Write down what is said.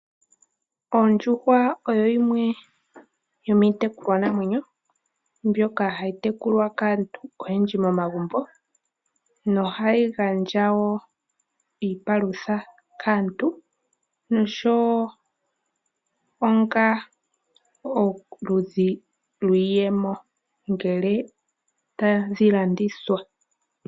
Oondjuhwa odho dhimwe dhomiitekulwanamwenyo mbyoka hayi tekulwa kaantu oyendji momagumbo nohayi gandja wo iipalutha kaantu nosho wo iiyemo ngele tadhi landithwa.